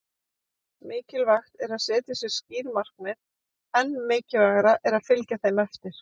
Mikilvægt er að setja sér skýr markmið- enn mikilvægara er að fylgja þeim eftir.